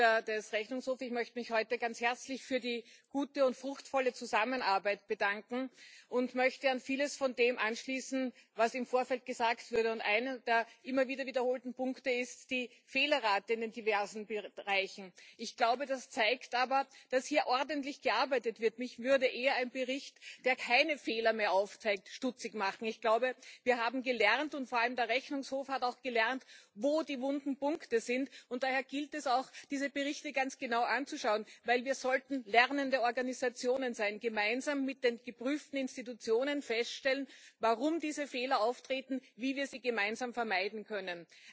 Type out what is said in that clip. Sehr geehrter Herr Präsident, sehr geehrte Mitglieder des Rechnungshofs! Ich möchte mich heute ganz herzlich für die gute und fruchtvolle Zusammenarbeit bedanken und möchte an vieles von dem anschließen, was im Vorfeld gesagt wurde. Einer, der immer wieder wiederholten Punkte, ist die Fehlerrate in den diversen Bereichen. Ich glaube, das zeigt aber, dass hier ordentlich gearbeitet wird. Mich würde eher ein Bericht, der keine Fehler mehr aufzeigt, stutzig machen. Ich glaube, wir haben gelernt und vor allem hat der Rechnungshof auch gelernt wo die wunden Punkte sind, und daher gilt es auch, diese Berichte ganz genau anzuschauen, denn wir sollten lernende Organisationen sein, gemeinsam mit den geprüften Institutionen feststellen, warum diese Fehler auftreten, wie wir sie gemeinsam vermeiden können.